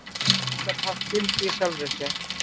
Hún gat haft gildi í sjálfri sér.